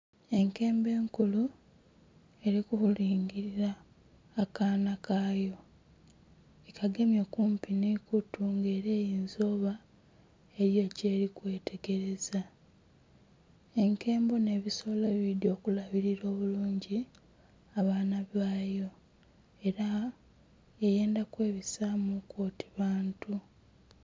Enkembo enkulu eri kulingilila akaana kayo ekagemye kumpi nhe kutu nga era eyinza okuba eriyo kyeri kwetegereza. Enkembo nhe ebisolo ebindhi okulabirila obulungi abaana bayo era eyendha kwebisamu ku oti bantu.